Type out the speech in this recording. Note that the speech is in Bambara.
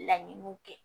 Laɲiniw kɛ